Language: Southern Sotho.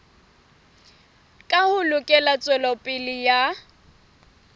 ka ho lekola tswelopele ya